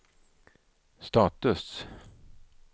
status